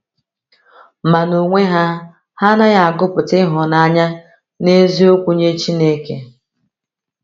Ma n’onwe ha, ha anaghị agụpụta ịhụnanya n’eziokwu nye Chineke.